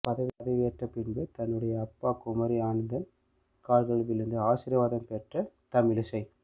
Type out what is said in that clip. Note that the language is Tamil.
பதவியேற்ற பின்பு தன்னுடைய அப்பா குமரி அனந்தன் கால்களில் விழுந்து ஆசிர்வாதம் பெற்றார் தமிழிசை